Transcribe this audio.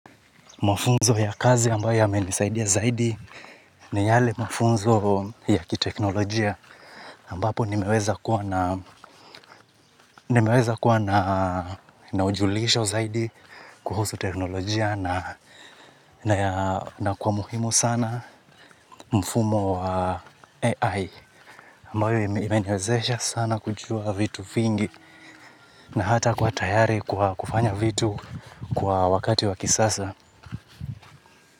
Mafunzo ya kazi ambayo yamenisaidia zaidi ni yale mafunzo ya kiteknolojia ambapo nimeweza kuwa na ujulisho zaidi kuhusu teknolojia na kwa muhimu sana mfumo wa AI ambayo imeniwezesha sana kujua vitu vingi na hata kuwa tayari kufanya vitu kwa wakati wa kisasa.